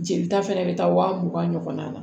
Jelita fɛnɛ be taa wa mugan ɲɔgɔn na